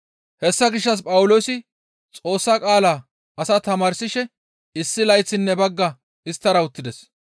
Hessa gishshas Phawuloosi Xoossa qaala asaa tamaarsishe issi layththinne bagga isttara uttides.